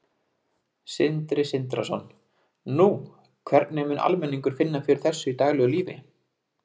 Sindri Sindrason: Nú, hvernig mun almenningur finna fyrir þessu í daglegu lífi?